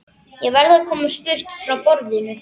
Ég verð að komast burt frá borðinu.